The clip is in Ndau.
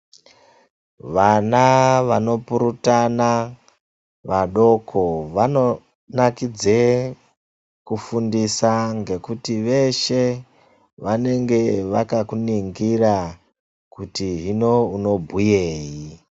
Vana vanopurutana vadoko vanonakidze kufundisa ngekuti veshe vanenge vakakuningira kuti hino unobhuyeyi.